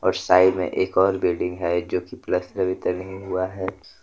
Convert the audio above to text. और साइड में एक और बिल्डिंग है जो कि पलस्तर भी तो नहीं हुआ है।